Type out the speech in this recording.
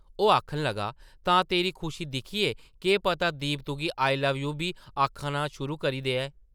ओह् आखन लगा, ‘‘तां तेरी खुशी दिक्खियै केह् पता दीप तुगी ‘आई लव यू’ बी आखना शुरू करी देऐ ।’’